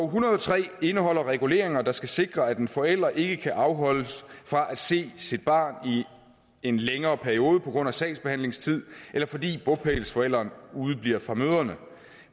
hundrede og tre indeholder reguleringer der skal sikre at en forælder ikke kan afholdes fra at se sit barn i en længere periode på grund af sagsbehandlingstid eller fordi bopælsforælderen udebliver fra møderne